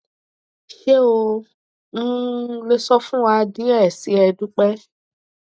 ṣe o um le sọ fun wa diẹ sii e dupe